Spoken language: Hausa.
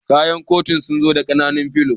Kayan katakun sunzu da ƙananun filo